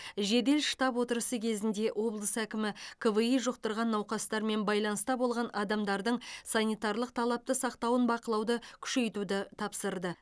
жедел штаб отырысы кезінде облыс әкімі кви жұқтырған науқастармен байланыста болған адамдардың санитарлық талапты сақтауын бақылауды күшейтуді тапсырды